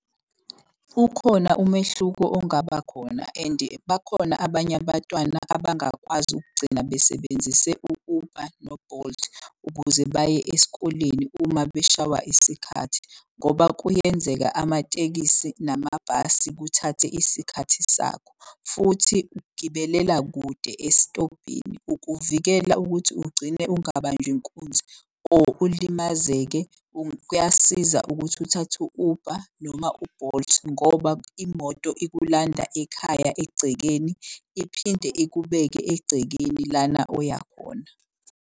Ukhona umehluko ongaba khona and bakhona abanye abatwana abangakwazi ukugcina besebenzise u-Uber no-Bolt. Ukuze baye esikoleni uma bashawa isikhathi. Ngoba kuyenzeka amatekisi namabhasi kuthathe isikhathi sakho futhi gibelela kude esitobhini. Ukuvikela ukuthi ugcine ungabanjwa inkunzi or ulimazeke kuyasiza ukuthi uthathe u-Uber noma u-Bolt. Ngoba imoto ikulanda ekhaya egcekeni, iphinde ikubeke egcekeni lana oyakhona.